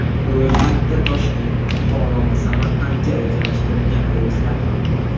Ro‘yxatda Toshkent, Buxoro va Samarqandga rejalashtirilgan reyslar ham bor.